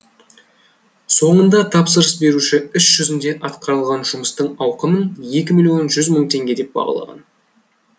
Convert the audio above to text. соңында тапсырыс беруші іс жүзінде атқарылған жұмыстың ауқымын екі миллион жүз мың теңге деп бағалаған